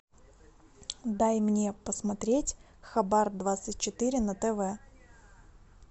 дай мне посмотреть хабар двадцать четыре на тв